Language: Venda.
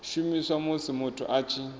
shumiswa musi muthu a tshi